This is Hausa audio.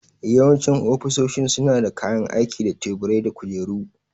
Yawancin ofisoshin suna da kayan aiki da tebura da kujeru.